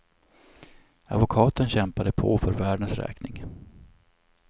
Advokaten kämpade på för värdens räkning.